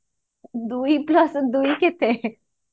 ଦୁଇ plus ଦୁଇ କେତେ